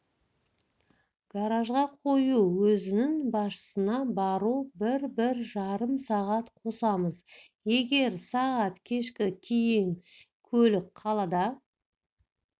гаражға қою өзінің басшысына бару бір-бір жарым сағат қосамыз егер сағат кешкі кейін көлік қалада